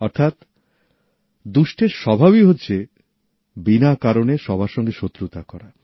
অর্থাৎ দুষ্টের স্বভাবই হচ্ছে বিনা কারণে সবার সঙ্গে শত্রুতা করা